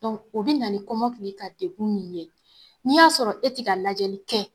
o bi na ni kɔmɔkili ka degun min ye n'i y'a sɔrɔ e ti ka lajɛli kɛ